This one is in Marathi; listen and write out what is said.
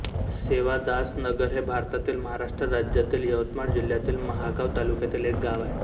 सेवादासनगर हे भारतातील महाराष्ट्र राज्यातील यवतमाळ जिल्ह्यातील महागांव तालुक्यातील एक गाव आहे